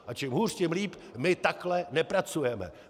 A čím hůř, tím líp - my takhle nepracujeme.